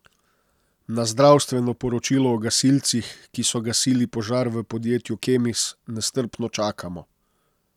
Na zdravstveno poročilo o gasilcih, ki so gasili požar v podjetju Kemis, nestrpno čakamo.